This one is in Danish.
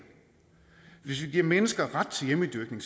hvis vi giver mennesker ret til hjemmedyrkning